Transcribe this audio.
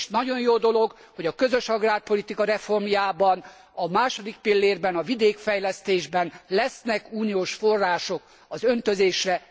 És nagyon jó dolog, hogy a közös agrárpolitika reformjában, a második pillérben, a vidékfejlesztésben lesznek uniós források az öntözésre.